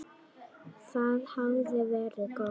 Það hafði verið gott.